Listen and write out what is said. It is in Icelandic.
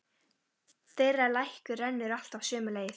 Þeirra lækur rennur alltaf sömu leið.